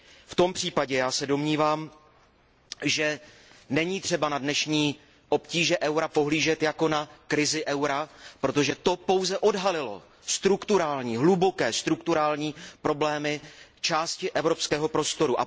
V tomto případě se domnívám, že není třeba na dnešní obtíže eura pohlížet jako na krizi eura, protože tyto obtíže pouze odhalily hluboké strukturální problémy části evropského prostoru.